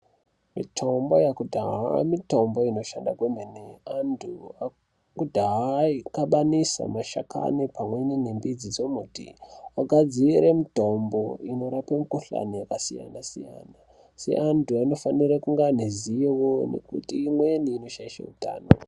Mitombo yakudhaya mitombo inoshanda kwemene. Antu akudhaya aikabanisa mashakani pamwe nembidzi dzemiti ogadzire mitombo inorape mikuhlane yakasiyana siyana. Asi antu anofanira kunge aneruziro ngekuti imweni inoshaishe utano.